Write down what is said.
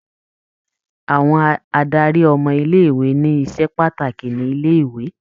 Àwọn adarí ọmọ ilé-ìwé ni iṣẹ́ pàtàkì ni ilé-ìwé.